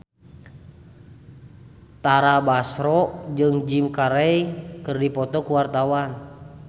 Tara Basro jeung Jim Carey keur dipoto ku wartawan